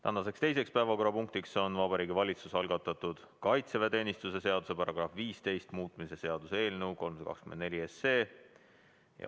Tänane teine päevakorrapunkt on Vabariigi Valitsuse algatatud kaitseväeteenistuse seaduse § 15 muutmise seaduse eelnõu 324.